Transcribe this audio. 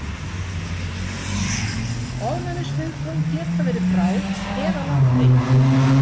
Ofnæmisviðbrögð geta verið bráð eða langdregin.